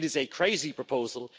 It is a crazy proposal.